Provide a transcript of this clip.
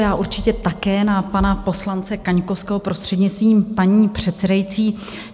Já určitě také na pana poslance Kaňkovského, prostřednictvím paní předsedající.